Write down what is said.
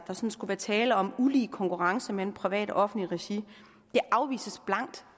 sådan skulle være tale om en ulige konkurrence mellem privat og offentligt regi det afvises blankt